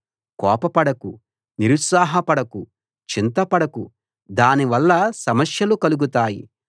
కోపపడకు నిరుత్సాహపడకు చింతపడకు దానివల్ల సమస్యలు కలుగుతాయి